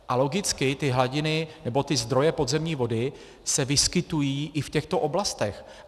A logicky ty hladiny nebo ty zdroje podzemní vody se vyskytují i v těchto oblastech.